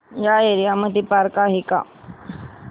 या एरिया मध्ये पार्क आहे का